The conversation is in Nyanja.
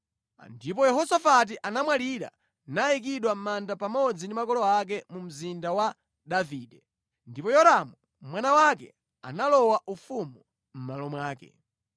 Ndipo Yehosafati anamwalira nayikidwa mʼmanda pamodzi ndi makolo ake mu mzinda wa Davide. Ndipo Yoramu mwana wake analowa ufumu mʼmalo mwake.